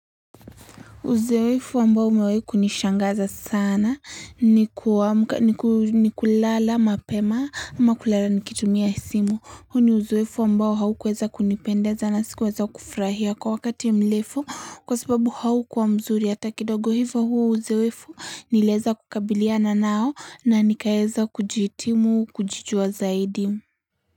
Uzeefu ambao umewahi nishangaza sana ni kulala mapema ama kulala nikitumia simu. Huo ni uzoefu ambao haukuweza kunipendeza na sikuweza kufurahia kwa wakati mrefu kwa sababu haukuwa mzuri hata kidogo hivo huu uzoefu niliweza kukabiliana nao na nikaeza kujiitimu kujijuwa zaidi.